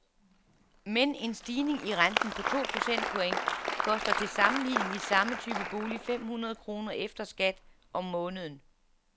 Men en stigning i renten på to procentpoint koster til sammenligning i samme type bolig fem hundrede kroner efter skat om måneden.